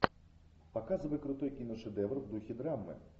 показывай крутой киношедевр в духе драмы